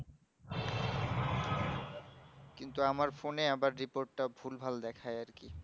কিন্তু আমার phone এ আবার report টা ভুলভাল দেখায় আরকি